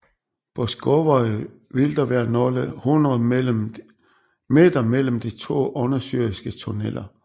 På Skúvoy vil der være nogle hundrede meter mellem de to undersøiske tunneller